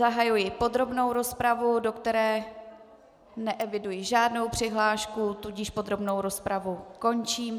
Zahajuji podrobnou rozpravu, do které neeviduji žádnou přihlášku, tudíž podrobnou rozpravu končím.